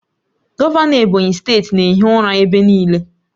Gọvanọ Ebonyi steeti na-ehi ụra ebe niile